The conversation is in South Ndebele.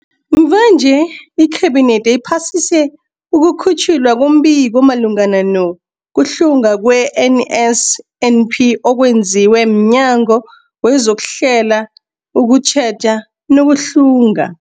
Mvanje, iKhabinethi iphasise ukukhutjhwa kombiko omalungana nokuhlungwa kwe-NSNP okwenziwe mNyango wezokuHlela, ukuTjheja nokuHlunga.